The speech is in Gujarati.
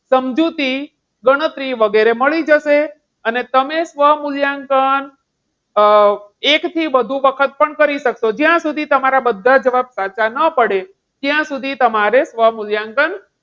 સમજૂતી ગણતરી વગેરે મળી જશે. અને તમે સુવા મૂલ્યાંકન એક થી વધુ વખત પણ કરી શકશો. અમ જ્યાં સુધી તમારા બધા જવાબ સાચા ના પડે ત્યાં સુધી તમારે સ્વમૂલ્યાંકન,